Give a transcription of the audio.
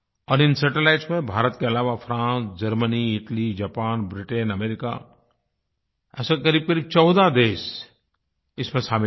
और इन सैटेलाइट्स में भारत के अलावा France Germany Italy Japan Britain America ऐसे क़रीबक़रीब 14 देश इसमें शामिल हैं